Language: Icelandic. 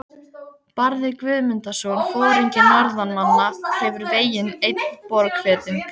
Barði Guðmundarson, foringi norðanmanna, hefur vegið einn Borgfirðing.